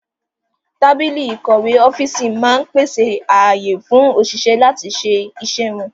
Tábìlì ìkọ̀wé ọ́fíìsì máa ń pèsè ààyè fún òṣìṣẹ́ láti lè ṣe iṣẹ́ wọn